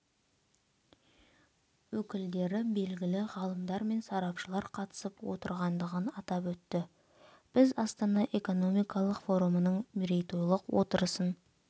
өкілдері белгілі ғалымдар мен сарапшылар қатысып отырғандығын атап өтті біз астана экономикалық форумының мерейтойлық отырысын